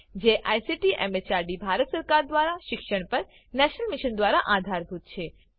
જેને ICT MHRD Bharat સરકાર મારફતે શિક્ષણ પર નેશનલ મિશન દ્વારા આધાર અપાયેલ છે